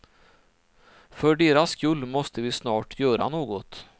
För deras skull måste vi snart göra något.